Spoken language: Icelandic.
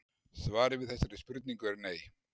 svarið við þessari spurningu er nei